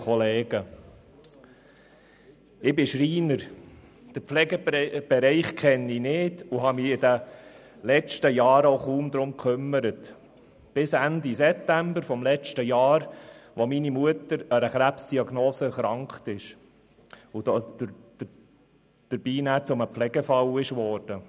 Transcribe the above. Ich bin Schreiner, den Pflegebereich kenne ich nicht und habe mich in den letzten Jahren auch kaum darum gekümmert – bis Ende September des vergangenen Jahres, als meine Mutter eine Krebsdiagnose erhalten hatte und dann zu einem Pflegefall wurde.